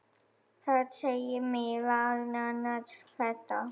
Þar segir meðal annars þetta